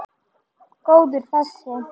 Góður þessi!